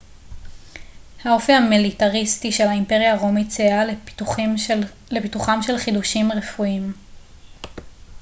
האופי המיליטריסטי של האימפריה הרומית סייע לפיתוחם של חידושים רפואיים